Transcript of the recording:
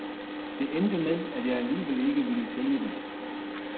Det endte med, at jeg alligevel ikke ville sælge det.